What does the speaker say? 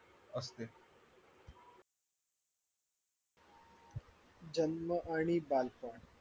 जन्म आणि बालपण